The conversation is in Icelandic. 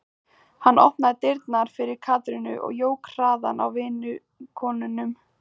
Hann opnaði dyrnar fyrir Katrínu og jók hraðann á vinnukonunum.